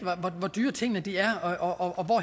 hvor dyre tingene er og hvor